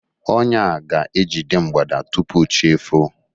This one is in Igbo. ọnya a ga-ejide mgbada tupu chi efoo.